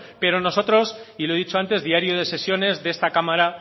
pero nosotros y lo he dicho antes diario de sesiones de esta cámara